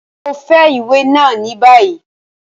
Mo ń fẹ iwe náa ni bayi!